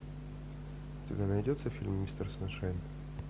у тебя найдется фильм мистер саншайн